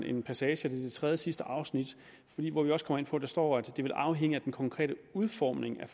en passage i det tredjesidste afsnit hvor vi også kommer ind på det der står at det vil afhænge af den konkrete udformning af